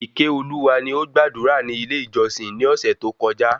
Ikeoluwa ni ọ gbàdúrà ni ilé ìjósìn ni ọ̀sẹ̀ tó kọjá